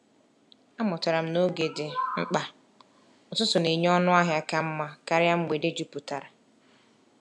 Amụtara m na oge dị mkpa; ụtụtụ na-enye ọnụ ahịa ka mma karịa mgbede jupụtara.